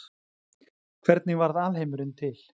hvernig varð alheimurinn til